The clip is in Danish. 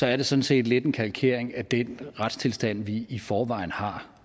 er det sådan set lidt en kalkering af den retstilstand vi i forvejen har